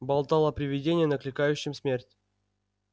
болтал о привидении накликающем смерть